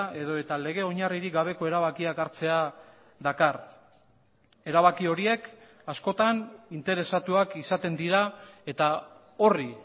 edota lege oinarririk gabeko erabakiak hartzea dakar erabaki horiek askotan interesatuak izaten dira eta horri